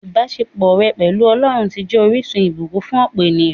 Ìbásepọ̀ rẹ̀ pẹ̀lú Ọlọ́run ti jẹ́ orísun ìbùkún fún òpò ènìyàn